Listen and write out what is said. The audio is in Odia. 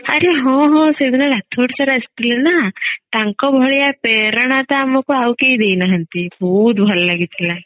ଆରେ ହଁ ହଁ ସେଦିନ ରାଥୋଡ sir ଆସିଥିଲେ ନା ତାଙ୍କ ଭଳିଆ ପେରଣା ତ ଆମକୁ ଆଉ କେଇ ଦେଇନାହାନ୍ତି ବହୁତ ଭଲ ଲାଗିଥିଲା